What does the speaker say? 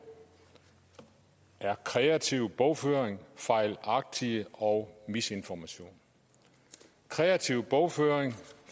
er kreativ bogføring fejlagtig og misinformation kreativ bogføring